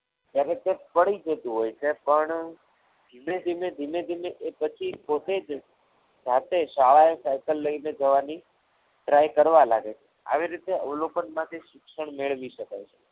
તરત જ પડી જતું હોય છે પણ ધીમે ધીમે ધીમે ધીમે પછી એ પોતે જ જાતે શાળાએ સાયકલ લઈને જવાની try કરવા લાગે છે આવી રીતે અવલોકનમાંથી શિક્ષણ મેળવી શકાય છે.